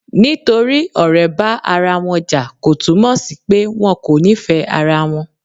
Nítorí ọ̀rẹ́ bá ara wọn jà, kò túnmọ sí pé wọn kò nífẹ̀ẹ́ ara wọn.